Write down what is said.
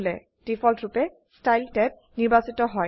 ডিফল্টৰুপে style tab নিৰ্বাচিত হয়